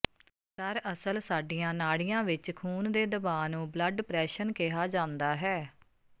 ਦਰਅਸਲ ਸਾਡੀਆਂ ਨਾੜੀਆਂ ਵਿਚ ਖ਼ੂਨ ਦੇ ਦਬਾਅ ਨੂੰ ਬਲੱਡ ਪ੍ਰੈਸ਼ਨ ਕਿਹਾ ਜਾਂਦਾ ਹੈ